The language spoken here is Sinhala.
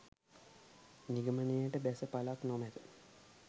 නිගමනයනට බැස පළක් නොමත